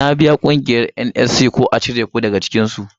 Ka biya ƙungiyar NCS ko u cire ka daga cikinsu.